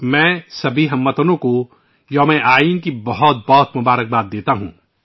میں یوم آئین کے موقع پر ، تمام ہم وطنوں کو نیک خواہشات پیش کرتا ہوں